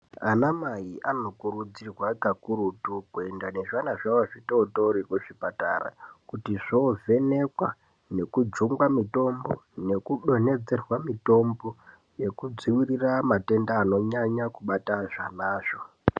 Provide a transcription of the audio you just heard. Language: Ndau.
Ana mai anokurudzirwa kakurutu kuenda nezvana zvavo zvitootori kuchipatara kuti zvovhenekwa nekujungwa mitombo nekudonhedzerwa mitombo yekudzivirira matenda anonyanya kubata zvanazvo.